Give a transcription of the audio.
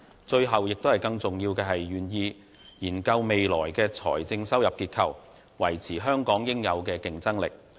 最後和更重要的是，他願意研究未來的財政收入結構，維持香港應有的競爭力。